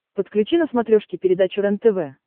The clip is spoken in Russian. подключи на смотрешке передачу рентв